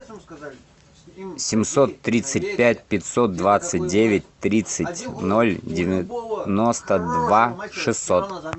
семьсот тридцать пять пятьсот двадцать девять тридцать ноль девяносто два шестьсот